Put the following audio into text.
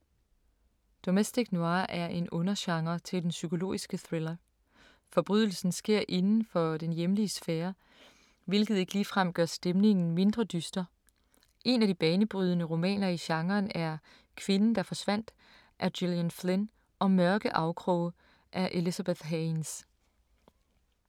Domestic noir er en undergenre til den psykologiske thriller. Forbrydelsen sker inden for den hjemlige sfære, hvilket ikke ligefrem gør stemningen mindre dyster. Et par af de banebrydende romaner i genren er Kvinden der forsvandt af Gillian Flynn og Mørke afkroge af Elizabeth Haynes.